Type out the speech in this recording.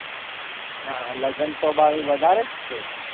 નાં લગ્ન તો બારું વધારે જ છે